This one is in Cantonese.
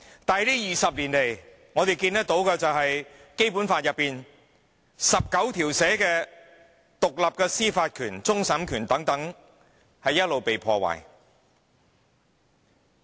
但是這20年來，我們看到《基本法》第十九條賦予香港的獨立司法權、終審權等一直被破壞。